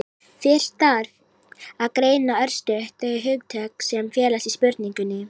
fyrst þarf að greina örstutt þau hugtök sem felast í spurningunni